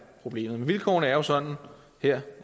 problemet men vilkårene er sådan her